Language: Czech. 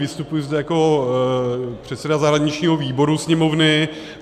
Vystupuji zde jako předseda zahraničního výboru Sněmovny.